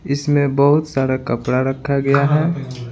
इसमें बहुत सारा कपड़ा रखा गया है।